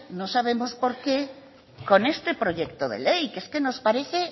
no sabemos por qué con este proyecto de ley es que nos parece